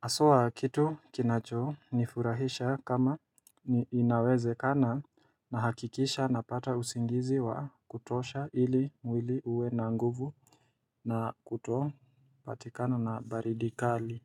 haswa kitu kinacho nifurahisha kama ni inawezekana na hakikisha napata usingizi wa kutosha ili mwili uwe na nguvu na kuto patikana na baridi kali.